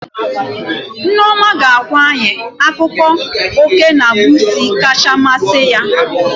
Nneoma ga-agwa anyị akụkọ oké na busuu kacha masị ya